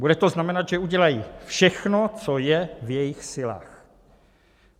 Bude to znamenat, že udělají všechno, co je v jejich silách.